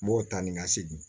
N b'o ta ni ka segin